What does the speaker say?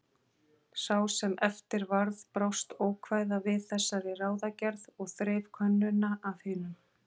Sá sem eftir varð brást ókvæða við þessari ráðagerð og þreif könnuna af hinum.